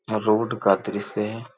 Road का दृश्य है।